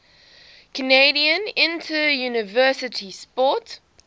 canadian interuniversity sport